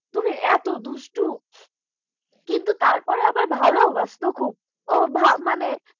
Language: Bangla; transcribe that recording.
এত দুষ্টু, কিন্তু আবার ভালবাসত খুব ও মানে